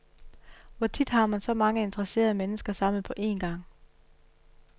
Hvor tit har man så mange interesserede mennesker samlet på en gang?